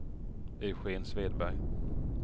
Eugén Svedberg